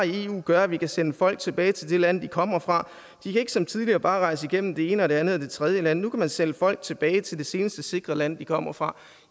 i eu gør at vi kan sende folk tilbage til det land de kommer fra de kan ikke som tidligere bare rejse igennem det ene og det andet og det tredje land nu kan man sende folk tilbage til det seneste sikre land de kommer fra